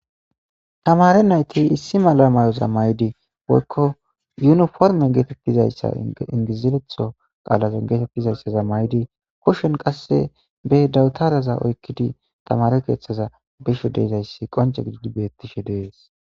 Tamare nayti issi mala mayoza maydi woykko yuniforme getetizayssa ingiziretho qaalaza maydi koshon qasse be dawutaraza oykkidi tamare keeththaza bisho dezayssi qonca gidii betishe dees.